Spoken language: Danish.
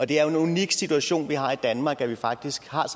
det er en unik situation vi har i danmark at vi faktisk har et